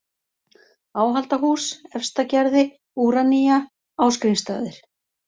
Áhaldahús, Efstagerði, Úranía, Ásgrímsstaðir